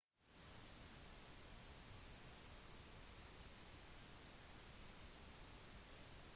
celle kommer opprinnelig fra ordet cella som betyr lite rom på latin